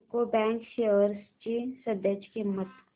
UCO bank shares ची सध्याची किंमत